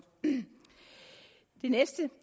den næste